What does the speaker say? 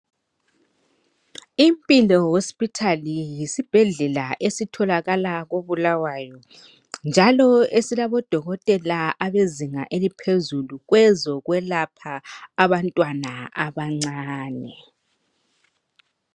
Impilo hospital yisibhedlela esitholakala koBulawayo njalo esilabodokotela abezinga eliphezulu kwezokwelapha abantwana abancane.